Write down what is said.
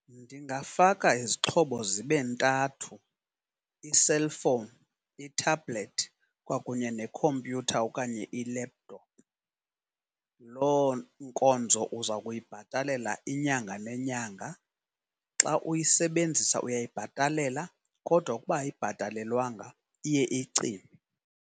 Ndingafaka izixhobo zibe ntathu, iselfowuni, ithabhulethi kwakunye nekhompyutha okanye i-laptop. Lo nkonzo uza kuyibhatalela inyanga nenyanga xa uyisebenzisa uyayibhatalela kodwa ukuba ayibhatalelwanga iye icime.